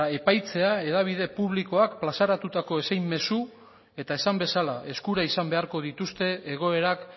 epaitzea hedabide publikoak plazaratutako zein mezu eta esan bezala eskura izan beharko dituzte egoerak